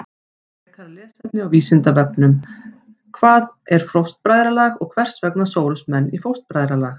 Frekara lesefni á Vísindavefnum: Hvað er fóstbræðralag og hvers vegna sórust menn í fóstbræðralag?